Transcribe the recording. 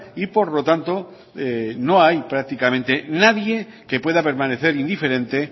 y por lo tanto no hay prácticamente nadie que pueda permanecer indiferente